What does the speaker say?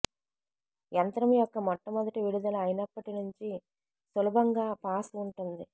యంత్రం యొక్క మొట్టమొదటి విడుదల అయినప్పటి నుంచి సులభంగా పాస్ ఉంటుంది